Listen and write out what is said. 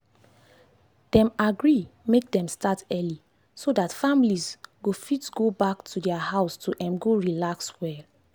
dem agree make dem start early so that families go fit go back to their house to um go relax well.